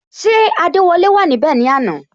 Ṣé adewole wà níbè ni àná?